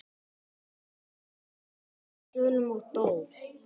Ólympíumeistarinn féll af svölum og dó